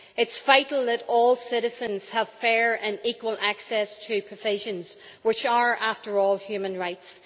It is vital that all citizens have fair and equal access to provisions which are, after all, human rights.